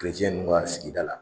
Kerecɛn ninnu sigida la